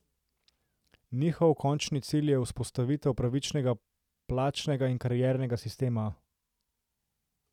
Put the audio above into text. Njihov končni cilj je vzpostavitev pravičnega plačnega in kariernega sistema.